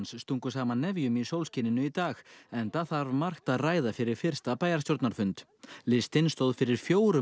stungu saman nefjum í sólskininu í dag enda þarf margt að ræða fyrir fyrsta bæjarstjórnarfund listinn stóð fyrir fjórum